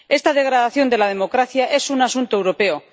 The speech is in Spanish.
Esta degradación de la democracia es un asunto europeo.